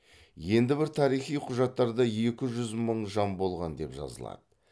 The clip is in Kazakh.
енді бір тарихи құжаттарда екі жүз мың жан болған деп жазылады